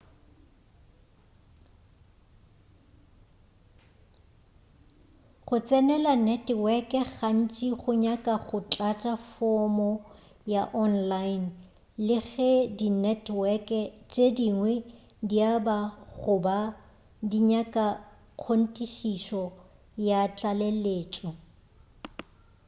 go tsenela neteweke gantši go nyaka go tlatša fomo ya online le ge dineteweke tše dingwe di aba goba di nyaka kgonthišišo ya tlaleletšo